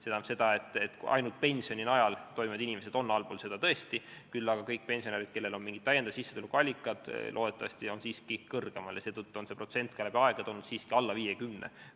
See tähendab, et ainult pensioni najal elavad inimesed on tõesti sellest allpool, küll aga kõik need pensionärid, kellel on mingid täiendavad sissetulekuallikad, on loodetavasti siiski sellest kõrgemal ja seetõttu on see protsent läbi aegade olnud alla 50.